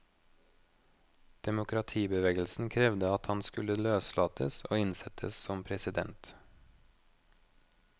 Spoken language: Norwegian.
Demokratibevegelsen krevde at han skulle løslates og innsettes som president.